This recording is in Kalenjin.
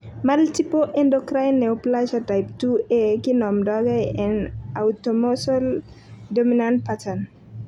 Multiple endocrine neoplasia type 2A (MEN 2A kinomdoge en autosomal dominant pattern.